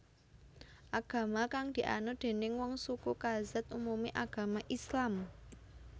Agama kang dianut déning wong suku Kazakh umumé agama Islam